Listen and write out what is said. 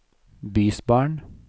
bysbarn